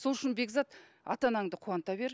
сол үшін бекзат ата анаңды қуанта бер